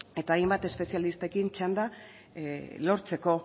eta hainbat espezialistarekin txanda lortzeko